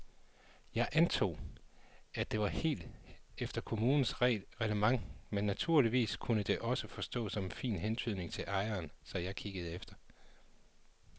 Jeg antog, at det var helt efter kommunens reglement men naturligvis kunne det også forstås som en fin hentydning til ejeren, så jeg kiggede efter.